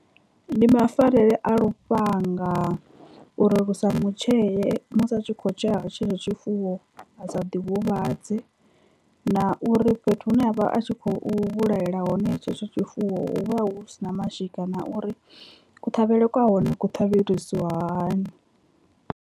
Ndi mafarele a lufhanga uri lu sa mu tshee musi a tshi kho tshea tshetsho tshifuwo a sa ḓi huvhadze, na uri fhethu hune ha vha a tshi khou vhulahela hone tshetsho tshifuwo hu vha hu si na mashika na uri kuṱhavhele kwa hone ku ṱhavhisiwa hani.